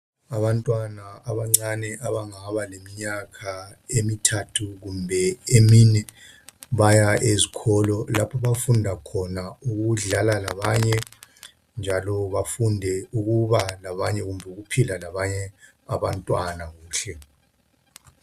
Abantwana abancane abangaba leminyaka emithathu kumbe emine baya ezikolo lapho abafunda khona ukudlala labanye njalo bafunde ukuba labanye, ukuphila labanye abantwana kuhle.